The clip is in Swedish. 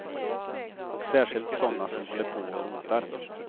Och särskilt såna som håller på och rotar.